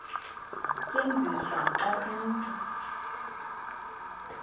tyenziswa xa umntu